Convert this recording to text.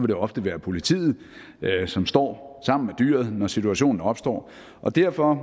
det ofte være politiet som står sammen med dyret når situationen opstår og derfor